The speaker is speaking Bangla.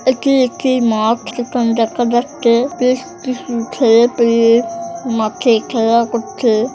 এখানে একটি মাঠ যেখানে দেখা যাচ্ছে বেশ কিছু ছেলেপেলে মাঠে খেলা করছে ।